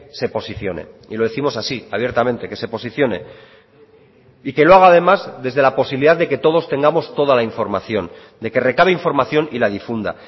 se posicione y lo décimos así abiertamente que se posicione y que lo haga además desde la posibilidad de que todos tengamos toda la información de que recabe información y la difunda